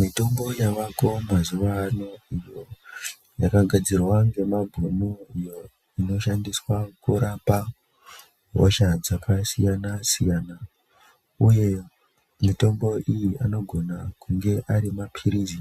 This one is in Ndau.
Mitombo yavako mazuwaano, iyo yakagadzirwa ngemabhunu, iyo inoshandiswa kurapa ,hosha dzakasiyana-siyana uye mitombo iyi anogona kunge ari maphirizi